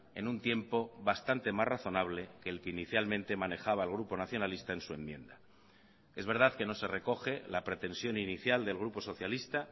en un tiempo bastante más razonable que el que inicialmente manejaba el grupo nacionalista en su enmienda es verdad que no se recoge la pretensión inicial del grupo socialista